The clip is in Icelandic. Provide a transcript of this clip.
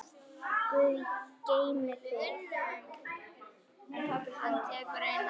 Guð geymi þig, þín, Ásdís.